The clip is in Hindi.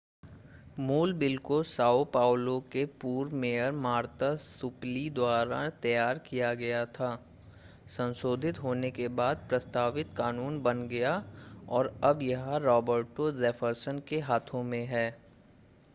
मूल बिल को साओ पाउलो के पूर्व मेयर मार्ता सुपीली द्वारा तैयार किया गया था संशोधित होने के बाद प्रस्तावित कानून बन गया और अब यह रॉबर्टो जेफरसन के हाथों में है